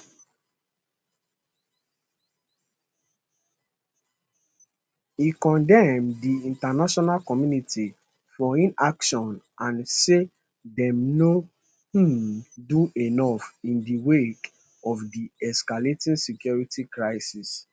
e condemn di international community for inaction and say dem no um do enough in di wake of di escalating security crisis